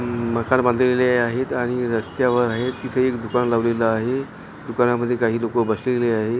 हम्म मकर बांधलेले आहेत आणि रस्त्यावर आहेत तिथ एक दुकान लावलेल आहे दुकानां मध्ये काही लोक बसलेली आहेत .